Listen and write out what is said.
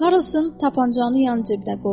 Karrlsın tapançanı yan cibinə qoydu.